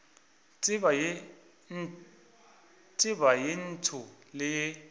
tseba ye ntsho le ye